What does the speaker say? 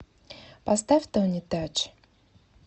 поставь тони тач